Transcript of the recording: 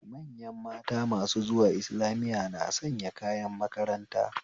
Manyan mata masu zuwa islamiya na sanya kayan makaranta